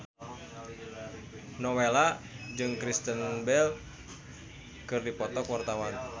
Nowela jeung Kristen Bell keur dipoto ku wartawan